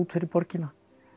fyrir borgina